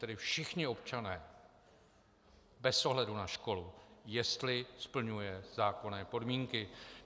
Tedy všichni občané bez ohledu na školu, jestli splňuje zákonné podmínky.